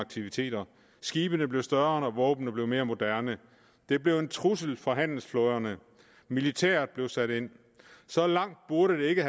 aktiviteter skibene blev større og våbnene mere moderne det blev en trussel for handelsflåderne og militæret blev sat ind så langt burde det ikke